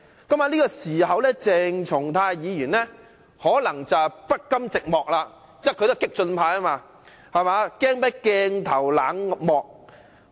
就在那個時候，鄭松泰議員可能不甘寂寞，因為他是激進派，害怕鏡頭冷落他。